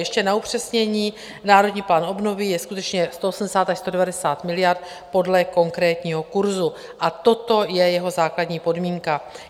Ještě na upřesnění, Národní plán obnovy je skutečně 180 až 190 miliard podle konkrétního kurzu a toto je jeho základní podmínka.